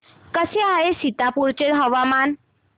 कसे आहे सीतापुर चे हवामान